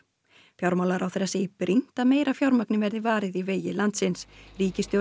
fjármálaráðherra segir brýnt að meira fjármagni verði varið í vegi landsins ríkisstjórnin